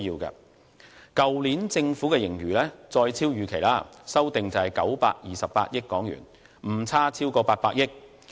去年政府的盈餘再遠超預期，修訂為928億元，誤差超過800億元。